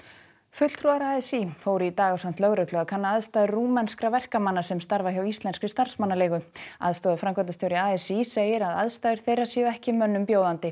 fulltrúar a s í fóru í dag ásamt lögreglu að kanna aðstæður rúmenskra verkamanna sem starfa hjá íslenskri starfsmannaleigu aðstoðarframkvæmdastjóri a s í segir að aðstæður þeirra séu ekki mönnum bjóðandi